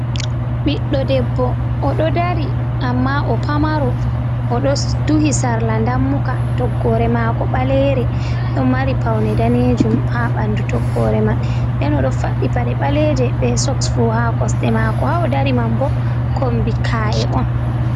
Ɓiɗɗo debbo oɗo dari amma o'pamaro oɗo duhi sarla dammuka. Toggore mako ɓalere ɗon mari paune danejum ha ɓandu toggore man. Nden oɗo faɗɗi paɗe ɓaleje be soks fu ha kosde mako. Ha o'dari man bo kombi ka’e on.